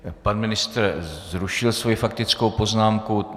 Pan ministr zrušil svou faktickou poznámku.